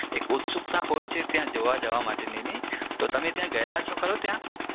એક ઉટશુંકતા હોય છે ત્યાં જોવા જવા માટેની નહિ તો તમે ત્યાં ગયેલા છો ખરા ત્યાં